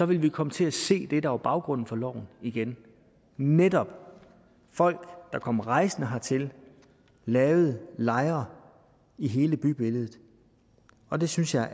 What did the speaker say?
ville vi komme til at se det der var baggrunden for loven igen netop folk der kom rejsende hertil og lavede lejre i hele bybilledet og det synes jeg